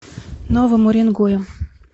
новым уренгоем